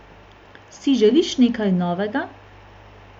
Si želiš nekaj novega?